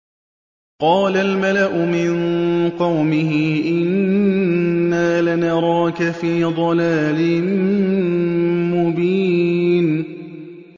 قَالَ الْمَلَأُ مِن قَوْمِهِ إِنَّا لَنَرَاكَ فِي ضَلَالٍ مُّبِينٍ